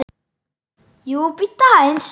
JÓN BEYKIR: Jú, bíddu aðeins!